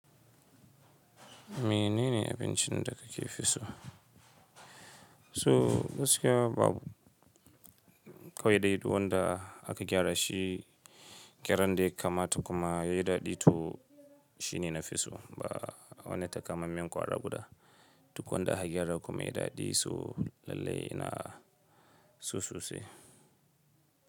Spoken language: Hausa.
Menene abincin da ka fi so? So basu ka wa dai duk wanda aka gyara shi, gyaran dai kama ta kuma ya yi daɗi to shine na fi so. Ba wani takamaiman kwara guda duk wanda aka gyara kuma ya yi daɗi so lallai ina so sosai.